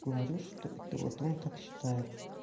говорю что это вот он так считает